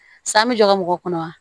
San bɛ jɔ mɔgɔ kɔnɔ wa